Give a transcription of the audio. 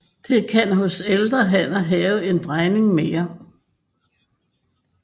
De kan hos ældre hanner have en drejning mere